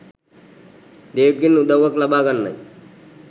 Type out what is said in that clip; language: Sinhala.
ඩේවිඩ්ගෙන් උදව්වක් ලබා ගන්නයි